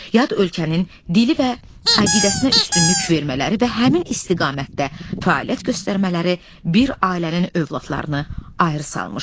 Yad ölkənin dili və əqidəsinə üstünlük vermələri və həmin istiqamətdə fəaliyyət göstərmələri bir ailənin övladlarını ayrı salmışdı.